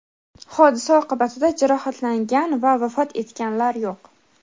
Hodisa oqibatida jarohatlangan va vafot etganlar yo‘q.